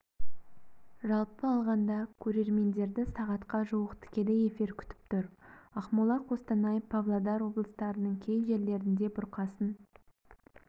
жалпы алғанда көрермендерді сағатқа жуық тікелей эфир күтіп тұр ақмола қостанай павлодар облыстарының кей жерлерінде бұрқасын